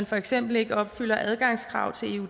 for eksempel ikke opfylder adgangskravene til